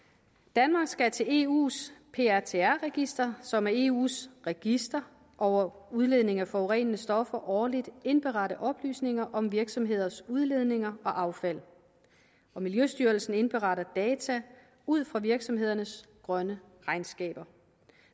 danmark skal til eus prtr register som er eus register over udledning af forurenende stoffer årligt indberette oplysninger om virksomheders udledninger og affald miljøstyrelsen indberetter data ud fra virksomhedernes grønne regnskaber